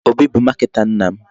Obi bụ marketer nna m.